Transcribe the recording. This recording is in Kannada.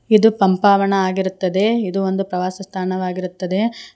ಇದು ಪಂಪಾವನ ಆಗಿರುತ್ತದೆ ಇದು ಒಂದು ಪ್ರವಾಸ ಸ್ಥಾನವಾಗಿರುತ್ತದೆ.